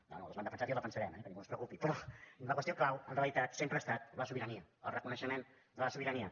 bé nosaltres l’hem defensat i la defensarem eh que ningú es preocupi però la qüestió clau en realitat sempre ha estat la sobirania el reconeixement de la sobirania